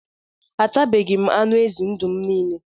Atabeghi m anụ ezi ndụ m niile